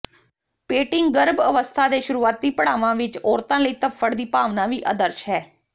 painting ਗਰਭ ਅਵਸਥਾ ਦੇ ਸ਼ੁਰੂਆਤੀ ਪੜਾਵਾਂ ਵਿਚ ਔਰਤਾਂ ਲਈ ਧੱਫੜ ਦੀ ਭਾਵਨਾ ਵੀ ਆਦਰਸ਼ ਹੈ